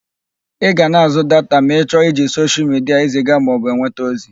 Ị ga na-àzụ́ data ma ị chọọ iji soshial midia eziga maọbụ enweta ozi.